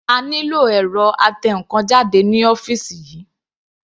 A nílò ẹ̀rọ atẹnkan jáde ní ọ́fìsì yìí.